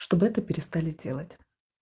чтобы это перестали делать